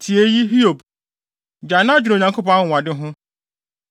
“Tie eyi, Hiob; gyae na dwene Onyankopɔn anwonwade ho.